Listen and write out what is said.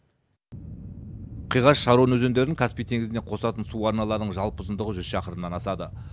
қиғаш шарон өзендерін каспий теңізіне қосатын су арналарының жалпы ұзындығы жүз шақырымнан асады